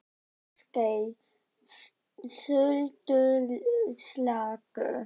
Ásgeir: Sultuslakur?